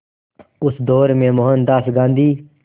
उस दौर में मोहनदास गांधी